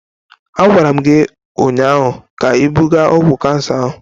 Agwara m gi ụnyaahụ ka ibuga ọgwụ kansa ahụ!